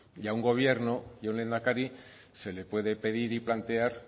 y a un gobierno y a un lehendakari se le puede pedir y plantear